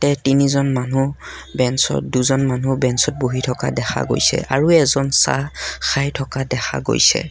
এই তিনিজন মানুহ বেঞ্চত দুজন মানুহ বেঞ্চত বহি থকা দেখা গৈছে আৰু এজন চাহ খাই থকা দেখা গৈছে।